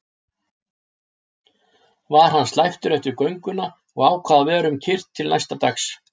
Var hann slæptur eftir gönguna og ákvað að vera um kyrrt til næsta dags.